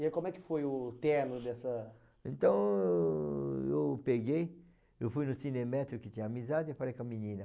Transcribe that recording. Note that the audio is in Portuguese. E aí como é que foi o término dessa... Então eu peguei, eu fui no cinemestre que tinha amizade e falei com a menina.